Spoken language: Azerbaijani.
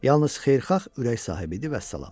Yalnız xeyirxah ürək sahibi idi, vəssalam.